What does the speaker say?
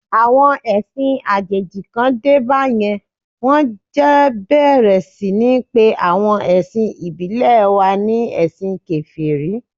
Àwọn ẹ̀sìn àjèjì kàn dé bá yẹn, wón jẹ̀ bẹ̀rẹ̀ sí ní pe awon ẹ̀sìn ìbílẹ̀ wa ni ẹ̀sìn Kèfèrí.